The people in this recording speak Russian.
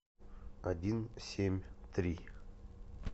один семь три